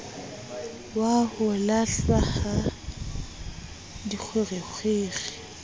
wa ho lahlwa ha dikgwerekgwere